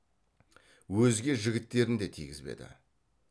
өзге жігіттерін де тигізбеді